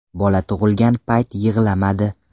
Bola tug‘ilgan payt yig‘lamadi.